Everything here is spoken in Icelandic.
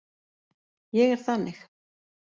Ég er þannig.